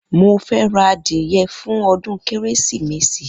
Mo fẹ́ ra adìyẹ fún ọdún Kérésìmesì